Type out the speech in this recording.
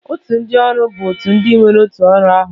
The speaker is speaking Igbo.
Òtù ndị ọrụ bụ ìgwè ndị nwere otu ọrụ ahụ